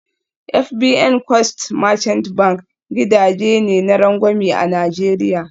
FBN Quest Merchant Bank gidaje ne na rangwame a Najeriya